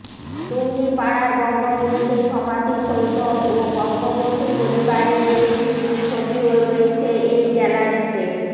টুঙ্গিপাড়ার বঙ্গবন্ধু সমাধিসৌধ ও বঙ্গবন্ধু পরিবারের বেশকিছু ছবিও রয়েছে এই গ্যালারিতে